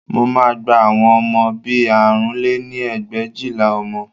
Mo máa gba àwọn ọmọ bí i àrún lé ní ẹgbẹ̀éjìlá ọmọ